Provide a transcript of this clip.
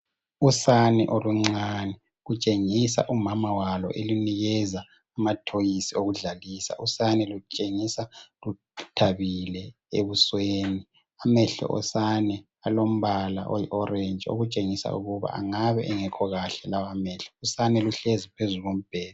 Usane oluncane lutshengisa umama walo elunikeza amathoyizi okudlalisa. Usane lutshengisa luthabile ebusweni, amehlo osane alombala oyi orentshi okutshengisa ukuba angabe engekho kahle lawa amehlo. Usane luhlezi phezu kombheda.